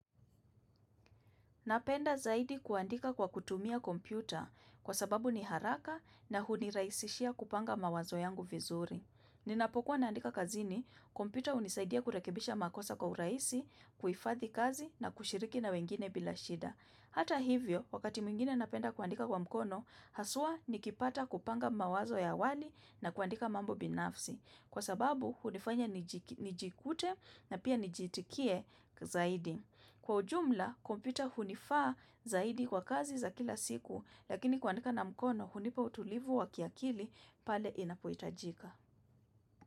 Napenda zaidi kuandika kwa kutumia kompyuta kwa sababu ni haraka na huniraisishia kupanga mawazo yangu vizuri. Ninapokuwa naandika kazini, kompyuta unisaidia kurekibisha makosa kwa uraisi, kuifadhi kazi na kushiriki na wengine bila shida. Hata hivyo, wakati mwingine napenda kuandika kwa mkono, haswa nikipata kupanga mawazo ya hawali na kuandika mambo binafsi. Kwa sababu, unifanya nijikute na pia nijitikie zaidi. Kwa ujumla, kompyuta hunifaa zaidi kwa kazi za kila siku, lakini kuandika na mkono hunipa utulivu wa kiakili pale inapoitajika.